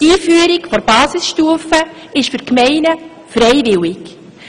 Die Einführung der Basisstufe ist für Gemeinden freiwillig.